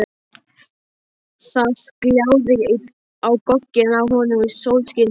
Það gljáði á gogginn á honum í sólskininu.